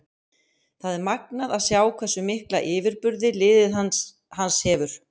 Það er magnað að sjá hversu mikla yfirburði liðið hans hefur.